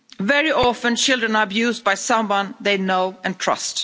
Very often children are abused by someone they know and trust.